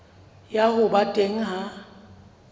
ya ho ba teng ha